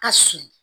Ka sulu